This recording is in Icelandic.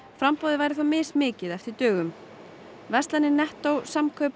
framboðið væri þó mismikið eftir dögum nettó Samkaup